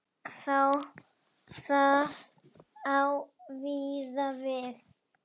Það á víða við.